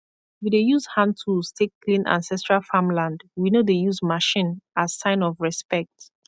we dey use hand tools take clean ancestral farmland we no dey use machine as sign of respect